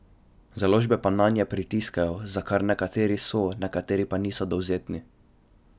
Založbe pa nanje pritiskajo, za kar nekateri so, nekateri pa niso dovzetni.